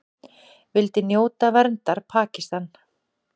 Vildi njóta verndar Pakistan